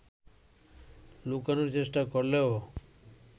লুকানোর চেষ্টা করলেও